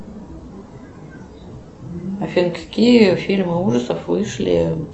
афина какие фильмы ужасов вышли